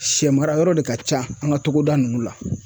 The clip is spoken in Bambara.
Sɛmarayɔrɔ de ka ca an ka togoda ninnu la